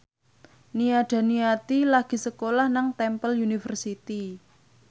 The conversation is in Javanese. Nia Daniati lagi sekolah nang Temple University